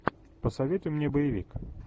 посоветуй мне боевик